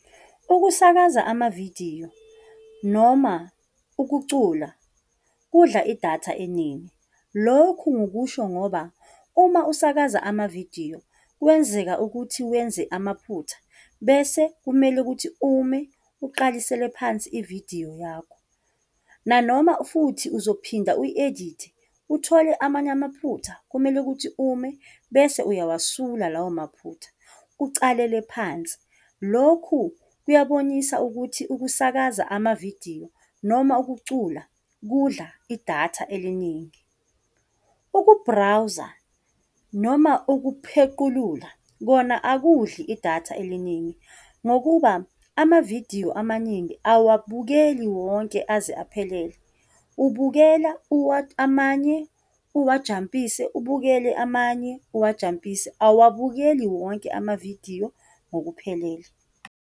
Ukusakaza amavidiyo noma ukucula kudla idatha eningi. Lokhu, ngikusho ngoba uma usakaza amavidiyo kuyenzeka ukuthi wenze amaphutha, bese kumele ukuthi ume uqalisele phansi ividiyo yakho, nanoma futhi uzophinda u-edithe uthole amanye amaphutha, kumele ukuthi ume, bese uyawasula lawo maphutha, ucalele phansi. Lokhu kuyabonisa ukuthi ukusakaza amavidiyo noma ukucula kudla idatha eliningi. Ukubhrawuza noma ukuphequlula kona akudli idatha eliningi, ngokuba amavidiyo amaningi awuwabukeli wonke aze aphelele, ubukela amanye uwajampise, ubukele amanye, uwajampise, awuwabukeli wonke amavidiyo ngokuphelele.